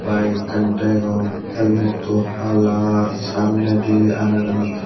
bike ekkan degong helmetu hala samnedi anaganot.